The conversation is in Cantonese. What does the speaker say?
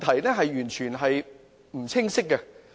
這是完全不清晰的。